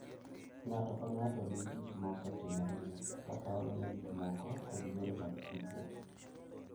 Ng’ato ka ng’ato nigi gik ma osetimorene, kaka oneno gik moko, kod yore mag tudruok.